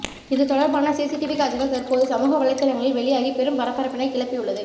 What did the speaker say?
இது தொடர்பான சிசிடிவி காட்சிகள் தற்போது சமூக வலைத்தளங்களில் வெளியாகி பெரும் பரபரப்பினை கிளப்பியுள்ளது